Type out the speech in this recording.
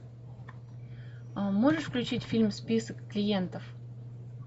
можешь включить фильм список клиентов